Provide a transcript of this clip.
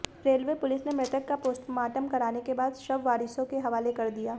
railway police ने मृतक का पोस्टमार्टम करवाने के बाद शव वारिसों के हवाले कर दिया